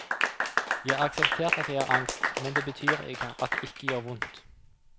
Jeg har akseptert at jeg har angst, men det betyr ikke at det ikke gjør vondt.